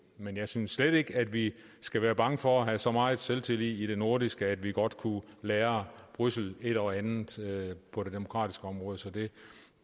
men jeg synes slet ikke at vi skal være bange for at have så meget selvtillid i det nordiske at vi godt kunne lære bruxelles et og andet på det demokratiske område så det